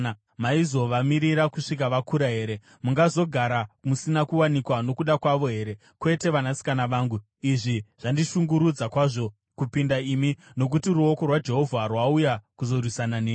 maizovamirira kusvikira vakura here? Mungazogara musina kuwanikwa nokuda kwavo here? Kwete, vanasikana vangu. Izvi zvandishungurudza kwazvo kupinda imi, nokuti ruoko rwaJehovha rwauya kuzorwisana neni!”